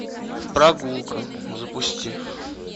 прогулка запусти